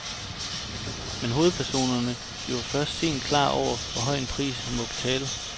Men hovedpersonen bliver først sent klar over, hvor høj en pris han må betale.